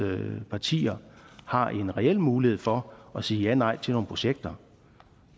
partier har en reel mulighed for at sige janej til nogle projekter